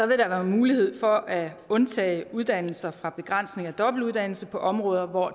vil der være mulighed for at undtage uddannelser fra begrænsninger af dobbeltuddannelse på områder hvor